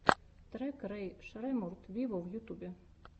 трек рэй шреммурд виво в ютюбе